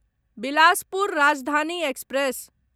Bilaspur Rajdhani express